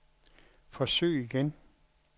forsøg igen